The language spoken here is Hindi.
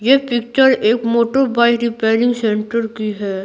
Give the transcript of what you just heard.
ये पिक्चर एक मोटर बाइक रिपेयरिंग सेंटर की है।